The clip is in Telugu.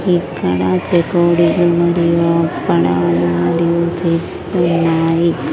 ఇక్కడ చెకోడీలు మరియు అప్పడాలు మరియు చిప్స్ లు ఉన్నాయి.